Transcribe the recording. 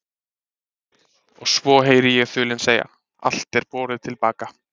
Og svo heyri ég þulinn segja: allt er borið til baka.